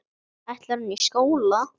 Ætlar hún í skóla.